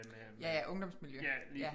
Ja ja ungdomsmiljø